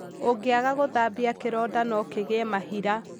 ũngĩaga gũthambia kĩronda no kĩgĩe mahira